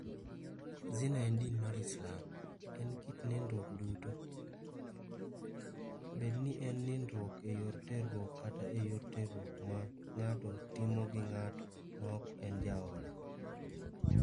Zina e din mar Islam, en kit nindruok duto, bed ni en nindruok e yor terruok kata e yor terruok ma ng'ato timo gi ng'at ma ok en jaode.